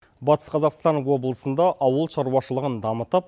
батыс қазақстан облысында ауылшаруашылығын дамытып